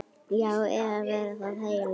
Já, yfir það heila.